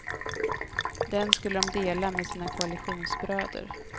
Den skulle de dela med sina koalitionsbröder.